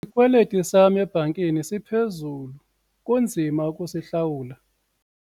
Isikweliti sam ebhankini siphezulu kunzima ukusihlawula.